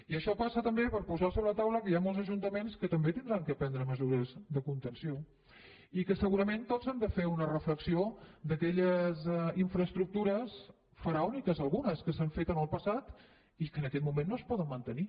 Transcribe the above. i això passa també per posar sobre la taula que hi han molts ajuntaments que també hauran de prendre mesures de contenció i que segurament tots han de fer una reflexió d’aquelles infraestructures faraòniques algunes que s’han fet en el passat i que en aquest moment no es poden mantenir